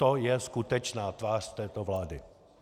To je skutečná tvář této vlády.